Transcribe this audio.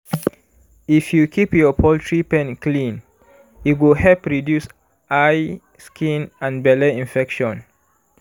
if you keep your poultry pen clean e go help reduce eye skin and belle infection.